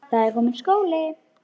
Það er kominn skóli.